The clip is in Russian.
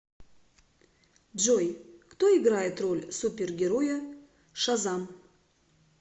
джой кто играет роль супергероя шазам